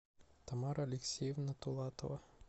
тамара алексеевна тулатова